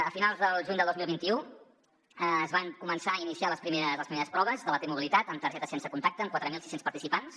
a finals del juny de dos mil vint u es van començar a iniciar les primeres proves de la t mobilitat amb targetes sense contacte amb quatre mil sis cents participants